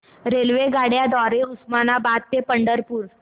रेल्वेगाड्यां द्वारे उस्मानाबाद ते पंढरपूर